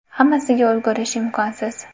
Hammasiga ulgurish imkonsiz.